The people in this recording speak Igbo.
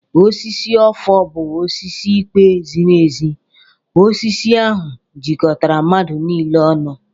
Osisi ọfọ bụ osisi ikpe ziri ezi. Osisi ahụ jikọtara mmadụ niile ọnụ.